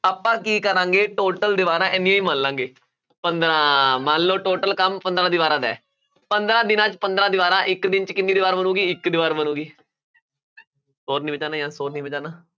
ਆਪਾਂ ਕੀ ਕਰਾਂਗੇ total ਦੀਵਾਰਾਂ ਇੰਨੀਆਂ ਹੀ ਮੰਨ ਲਵਾਂਗੇ ਪੰਦਰਾਂ ਮੰਨ ਲਓ total ਕੰਮ ਪੰਦਰਾਂ ਦੀਵਾਰਾਂ ਦਾ ਹੈ ਪੰਦਰਾਂ ਦਿਨਾਂ 'ਚ ਪੰਦਰਾਂ ਦੀਵਾਰਾਂ ਇੱਕ ਦਿਨ 'ਚ ਕਿੰਨੀ ਦੀਵਾਰ ਬਣੇਗੀ ਇੱਕ ਦੀਵਾਰ ਬਣੇਗੀ ਸ਼ੋਰ ਨੀ ਮਚਾਉਣਾ ਸ਼ੋਰ ਨੀ ਮਚਾਉਣਾ